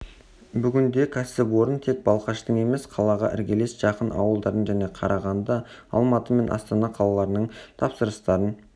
бүгінде кәсіпорын тек балқаштың емес қалаға іргелес жатқан ауылдардың және қарағанды алматы мен астана қалаларының тапсырыстарын